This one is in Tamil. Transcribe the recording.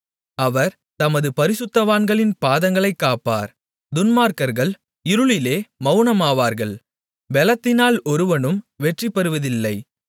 அவர் தமது பரிசுத்தவான்களின் பாதங்களைக் காப்பார் துன்மார்க்கர்கள் இருளிலே மெளனமாவார்கள் பெலத்தினால் ஒருவனும் வெற்றிபெறுவதில்லை